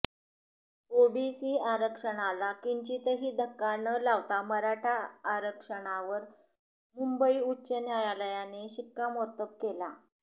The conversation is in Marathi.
ओबीसी आरक्षणाला किंचितही धक्का न लावता मराठा आरक्षणावर मुंबई उच्च न्यायालयाने शिक्कामोर्तब केला